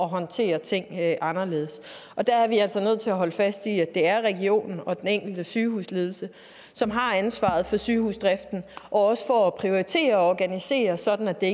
håndtere ting anderledes og der er vi altså nødt til at holde fast i at det er regionen og den enkelte sygehusledelse som har ansvaret for sygehusdriften og også for at prioritere og organisere sådan at det